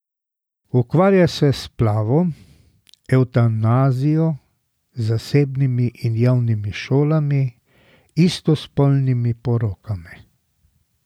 Ukvarja se s splavom, evtanazijo, zasebnimi in javnimi šolami, istospolnimi porokami.